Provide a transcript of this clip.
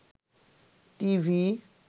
TV